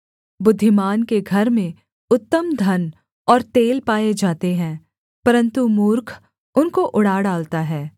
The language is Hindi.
बुद्धिमान के घर में उत्तम धन और तेल पाए जाते हैं परन्तु मूर्ख उनको उड़ा डालता है